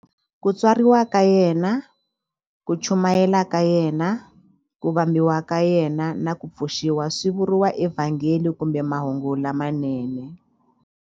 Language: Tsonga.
Ku tswariwa ka yena, ku chumayela ka yena, ku vambiwa ka yena, na ku pfuxiwa swi vuriwa eVhangeli kumbe Mahungu lamanene.